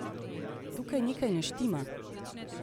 Tukaj nekaj ne štima!